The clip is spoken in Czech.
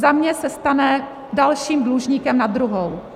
Za mě se stane dalším dlužníkem na druhou.